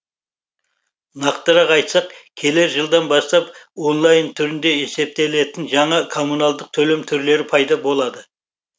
нақтырақ айтсақ келер жылдан бастап онлайн түрде есептелетін жаңа коммуналдық төлем түрлері пайда болады